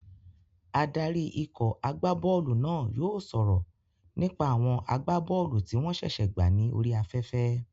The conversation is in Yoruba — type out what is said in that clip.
Adarí ikọ̀ agbá bọ́ọ̀lù náà yóò sọ̀rọ̀ nípa àwọn agbá bọ́ọ̀lù tí wọ́n ṣẹ̀ṣẹ̀ gbà ní orí afẹ́fẹ́